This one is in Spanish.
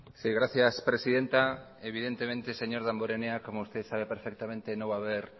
sí gracias presidenta evidentemente señor damborenea como usted sabe perfectamente no va a haber